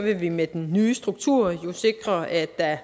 vi med den nye struktur sikre at der